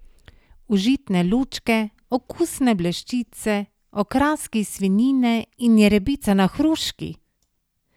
Užitne lučke, okusne bleščice, okraski iz svinjine in jerebica na hruški!